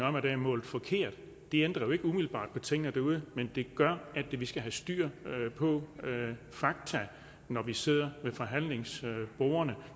om at der er målt forkert det ændrer jo ikke umiddelbart ved tingene derude men det gør at vi skal have styr på fakta når vi sidder ved forhandlingsbordene